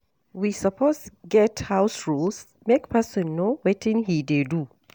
We suppose get house rules make person know wetin he dey do